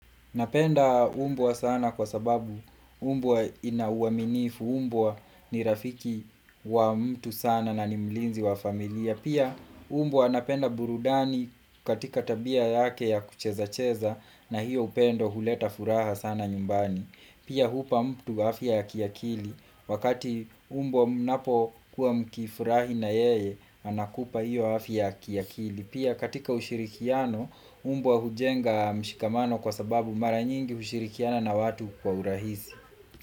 Napenda umbwa sana kwa sababu umbwa ina uaminifu, umbwa ni rafiki wa mtu sana na ni mlinzi wa familia. Pia umbwa napenda burudani katika tabia yake ya kuchezacheza na hiyo upendo huleta furaha sana nyumbani. Pia hupa mtu afya ya kiakili. Wakati umbwa mnapo kuwa mkifurahi na yeye, anakupa hiyo afya ya kiakili. Pia katika ushirikiano umbwa hujenga mshikamano kwa sababu mara nyingi hushirikiana na watu kwa urahisi.